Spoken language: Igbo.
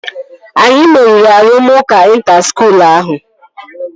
Anyi meriri arụmụka ịnta skuul ahụ